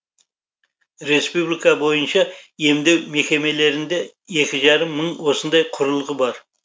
республика бойынша емдеу мекемелерінде екі жарым мың осындай құрылғы бар